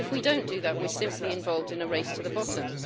If we don't do that, we're simply involved in a race to the bottom.